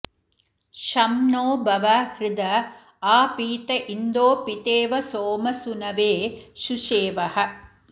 शं नो भव हृद आ पीत इन्दो पितेव सोम सूनवे सुशेवः